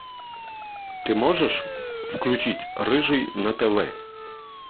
ты можешь включить рыжий на тв